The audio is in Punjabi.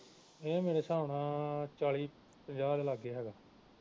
ਇਹ ਮੇਰਾ ਹਿਸਾਬ ਨਾਲ ਚਾਲੀ ਪੰਜਾਹ ਦੇ ਲਾਗੇ ਹੈਗਾ